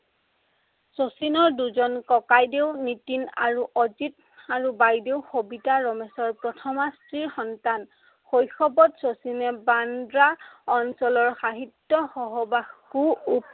শচীনৰ দুজন ককাইদেউ নীতিন আৰু অজিত আৰু বাইদেউ সবিতা ৰমেশৰ প্ৰথমা স্ত্ৰীৰ সন্তান। শৈশৱত শচীনে বান্দ্ৰা অঞ্চলৰ সাহিত্য় সহবাসো